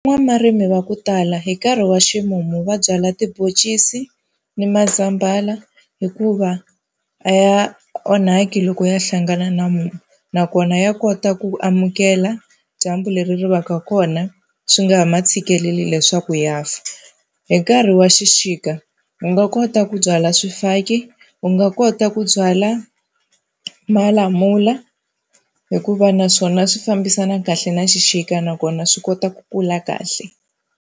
Van'wamurimi wa ku tala hi nkarhi wa ximumu va byala tiboncisi ni mazambhana hikuva a ya onhaki loko ya hlangana na mumu, nakona ya kota ku amukela dyambu leri ri va ka kona swi nga ha ma tshikeleli leswaku ya fa. Hi nkarhi wa xixika u nga kota ku byala swifaki, u nga kota ku byala malamula hikuva naswona swi fambisana kahle na xixika nakona swi kota ku kula kahle.